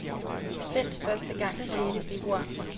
Sendt første gang sjette februar.